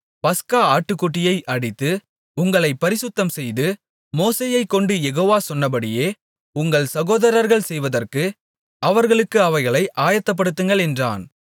பஸ்கா ஆட்டுக்குட்டியை அடித்து உங்களைப் பரிசுத்தம்செய்து மோசேயைக்கொண்டு யெகோவா சொன்னபடியே உங்கள் சகோதரர்கள் செய்வதற்கு அவர்களுக்கு அவைகளை ஆயத்தப்படுத்துங்கள் என்றான்